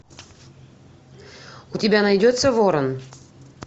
у тебя найдется ворон